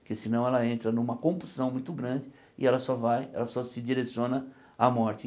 porque senão ela entra numa compulsão muito grande e ela só vai, ela só se direciona à morte.